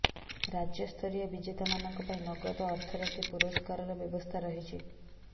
ରାଜ୍ୟସ୍ତରୀୟ ବିଜେତାମାନଙ୍କ ପାଇଁ ନଗଦ ଅର୍ଥ ରାଶି ପୁରସ୍କାରର ବ୍ୟବସ୍ଥା ରହିଛି